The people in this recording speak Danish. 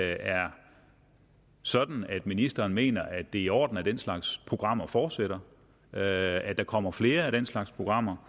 er sådan at ministeren mener at det er i orden at den slags programmer fortsætter at der kommer flere af den slags programmer